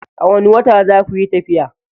A wani wata zakuyi tafiya?